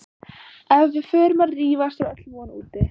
Ef við förum að rífast er öll von úti